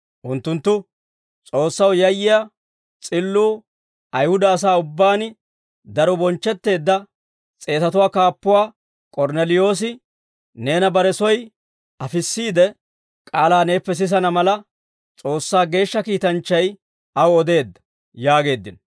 Unttunttu, «S'oossaw yayyiyaa s'illuu Ayihuda asaa ubbaan daro bonchchetteedda s'eetatuwaa kaappuwaa K'ornneliyoosi, neena bare soy afissiide, k'aalaa neeppe sisana mala, S'oossaa geeshsha kiitanchchay aw odeedda» yaageeddino.